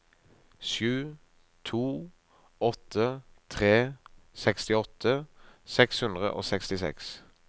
sju to åtte tre sekstiåtte seks hundre og sekstiseks